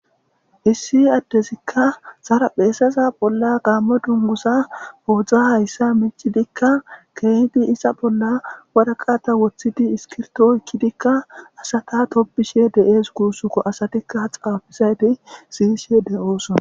issi addezikka sara pheesaza bolla gaamme dungusa oodzdza hayssa micidikka keehidi isa bolla wadaqata woththidi iskirto oykkidikka asata tobishe deees kuussuko asatikka xaafisayti siyishe de7oosona